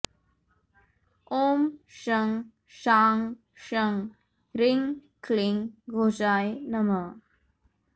ॐ शं शां षं ह्रीं क्लीं घोषाय नमः